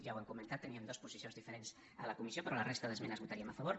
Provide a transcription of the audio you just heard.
ja ho hem comentat teníem dues posicions diferents a la comissió però en la resta d’esmenes hi votaríem a favor